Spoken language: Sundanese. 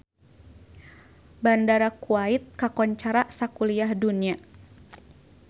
Bandara Kuwait kakoncara sakuliah dunya